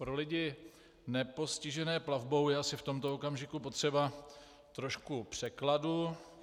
Pro lidi nepostižené plavbou je asi v tomto okamžiku potřeba trošku překladu.